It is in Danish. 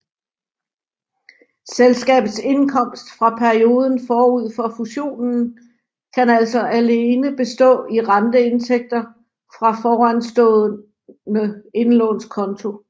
Selskabets indkomst fra perioden forud for fusionen kan altså alene bestå i renteindtægter fra foranstående indlånskonto